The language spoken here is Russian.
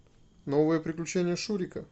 новые приключения шурика